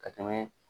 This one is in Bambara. Ka tɛmɛ